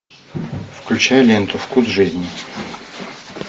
включай ленту вкус жизни